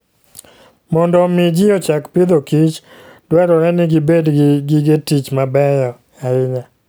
Mondo omi ji ochak Agriculture and Food, dwarore ni gibed gi gige tich mabeyo ahinya.